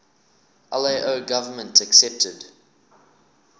lao government accepted